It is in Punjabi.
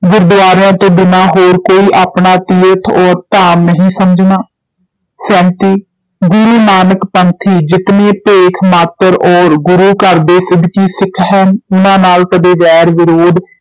ਗੁਰਦੁਆਰਿਆਂ ਤੋ ਬਿਨਾਂ ਹੋਰ ਕੋਈ ਆਪਣਾ ਤੀਰਥ ਔਰ ਧਾਮ ਨਹੀਂ ਸਮਝਣਾ, ਸੈਂਤੀ ਗੁਰੂ ਨਾਨਕ ਪੰਥੀ ਜਿਤਨੇ ਭੇਖ ਮਾਤਰ ਔਰ ਗੁਰੂ ਘਰ ਦੇ ਸਿਦਕੀ ਸਿੱਖ ਹਨ, ਉਹਨਾਂ ਨਾਲ ਕਦੇ ਵੈਰ ਵਿਰੋਧ